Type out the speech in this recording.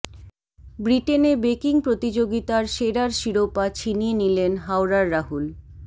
ব্রিটেনে বেকিং প্রতিযোগিতার সেরার শিরোপা ছিনিয়ে নিলেন হাওড়ার রাহুল